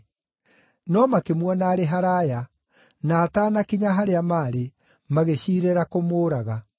No makĩmuona arĩ haraaya, na ataanakinya harĩa maarĩ, magĩciirĩra kũmũũraga.